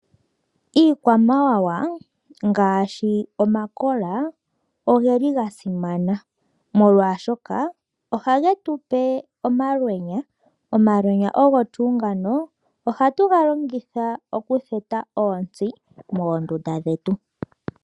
Iikwamawa ngaashi omakola ogeli ga simana molwaashoka ohage tupe omalwenya. Omalwenya ngano ohatu galongitha oku theta onsti moondunda dhetu.